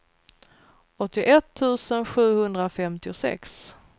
åttioett tusen sjuhundrafemtiosex